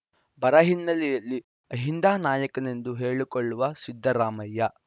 ಬರ ಹಿನ್ನೆಲೆಯಲ್ಲಿ ಅಹಿಂದ ನಾಯಕನೆಂದು ಹೇಳಿಕೊಳ್ಳುವ ಸಿದ್ದರಾಮಯ್ಯ